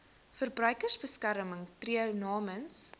verbruikersbeskermer tree namens